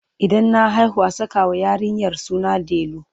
Idan na haihu a sakawa yarinyar suna delu.